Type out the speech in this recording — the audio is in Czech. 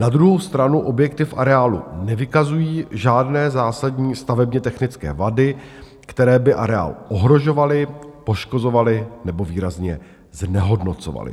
Na druhou stranu objekty v areálu nevykazují žádné zásadní stavebně technické vady, které by areál ohrožovaly, poškozovaly nebo výrazně znehodnocovaly.